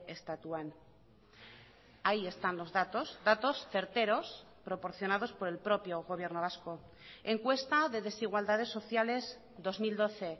estatuan ahí están los datos datos certeros proporcionados por el propio gobierno vasco encuesta de desigualdades sociales dos mil doce